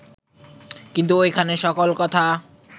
কিন্তু ঐখানে সকল কথা